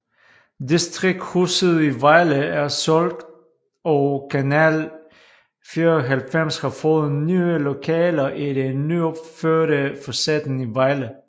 Distrikshuset i Vejle er solgt og Kanal 94 har fået nye lokaler i det nyopførte Facetten i Vejle